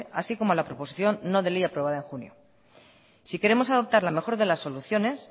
así como la proposición no de ley aprobada en junio si queremos adoptar la mejor de las soluciones